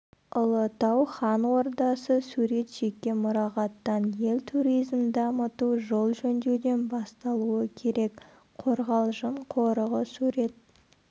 ұлытау хан ордасы сурет жеке мұрағаттан ел туризмін дамыту жол жөндеуден басталуы керек қорғалжың қорығы сурет